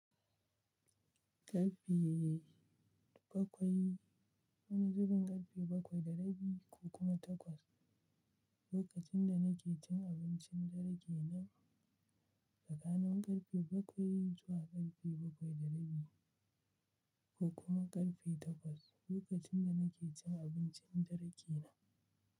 Karfe bakwai, wani zubin karfe bakwai da rabi ko kuma takwas, lokacin da nake cin abincin dare nan tsakanin karfe bakwai zuwa karfe bakwai da rabi ko kuma karfe takwas, lokacin da nake cin abincin dare na.